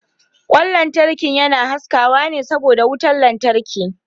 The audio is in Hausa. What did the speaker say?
Kwan lantarki yana haskawa ne saboda wutar lantarki.